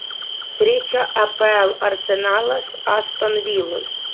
встреча апл арсенала с астон виллой